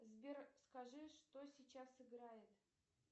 сбер скажи что сейчас играет